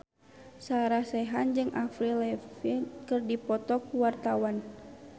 Sarah Sechan jeung Avril Lavigne keur dipoto ku wartawan